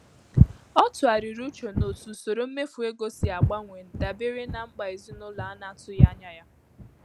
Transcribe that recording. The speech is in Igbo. Ọ tụgharịrị uche n'otú usoro mmefu ego si agbanwe dabere na mkpa ezinụlọ a na-atụghị anya ya.